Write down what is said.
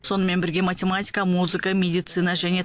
сонымен бірге математика музыка медицина және